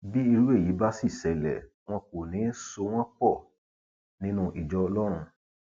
bí irú èyí bá sì ṣẹlẹ wọn kò ní í so wọn pọ nínú ìjọ ọlọrun